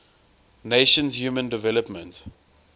nations human development